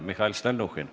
Mihhail Stalnuhhin.